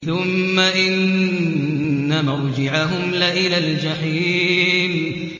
ثُمَّ إِنَّ مَرْجِعَهُمْ لَإِلَى الْجَحِيمِ